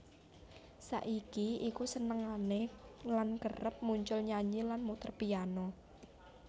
Saiki iku senengane lan kerep muncul nyanyi lan muter piano